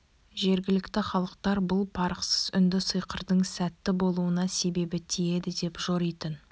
жергілікті халықтар бұл парықсыз үнді сиқырдың сәтті болуына себебі тиеді деп жоритын